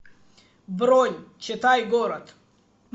бронь читай город